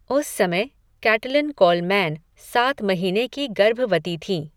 उस समय Caitlin Coleman सात महीने की गर्भवती थी।